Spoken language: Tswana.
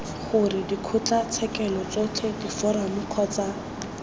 gore dikgotlatshekelo tsotlhe diforamo kgotsa